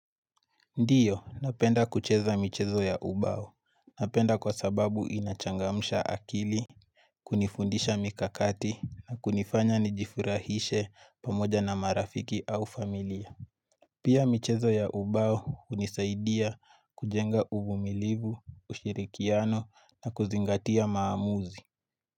Ndiyo, napenda kucheza michezo ya ubao. Napenda kwa sababu inachangamsha akili, kunifundisha mikakati na kunifanya nijifurahishe pamoja na marafiki au familia. Pia michezo ya ubao unisaidia kujenga uvumilivu, ushirikiano na kuzingatia maamuzi.